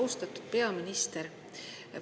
Austatud peaminister!